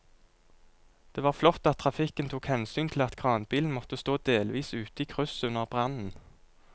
Det var flott at trafikken tok hensyn til at kranbilen måtte stå delvis ute i krysset under brannen.